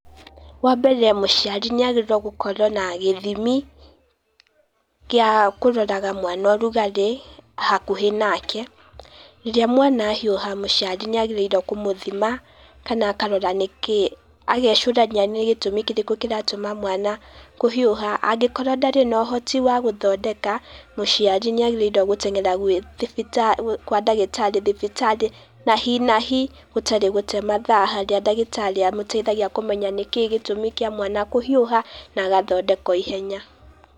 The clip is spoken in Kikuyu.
Wa mbere mũciari nĩ agĩrĩire gũkorwo na gĩthimi, gĩa kũroraga mwana ũrugarĩ hakuhĩ nake, rĩrĩa mwana ahiũha, mũciari nĩ agĩrĩire kũmũthima kana akarora nĩkĩ, agecũrania nĩ gĩtũmi kĩrĩkũ kĩratũma mwana kũhiũha, angĩkorwo ndarĩ na ũhoti wa gũthondeka, mũciari nĩ agĩrĩirwo gũteng'era gwĩ thibita gwa ndagĩtarĩ thibitarĩ, na hi na hi gũtarĩ gũte mathaa harĩa ndagĩtarĩ amũteithagia kũmenya nĩkĩ gĩtũmi kĩa mwana kũhiũha, na agathondekwo ihenya.